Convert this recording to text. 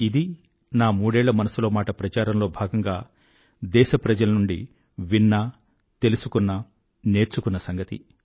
ఇది నా మూడేళ్ళ మనసులో మాట ప్రచారంలో భాగంగా దేశప్రజల నుండి విన్న తెలుసుకున్న నేర్చుకున్న సంగతి